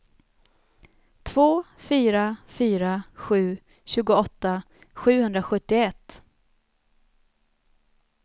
två fyra fyra sju tjugoåtta sjuhundrasjuttioett